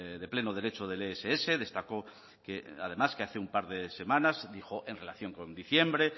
de pleno derecho del ess destacó que además que hace un par de semanas dijo en relación con diciembre